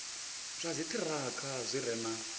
zwa dziṱhirakha zwi re na